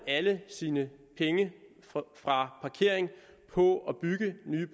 alle sine penge fra parkering på at bygge nye